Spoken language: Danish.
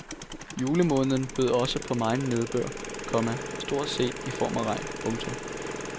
Julemåneden bød også på megen nedbør, komma stort set i form af regn. punktum